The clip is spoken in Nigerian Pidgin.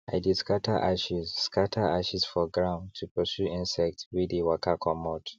i dey scatter ashes scatter ashes for ground to pursue insects wey dey waka comot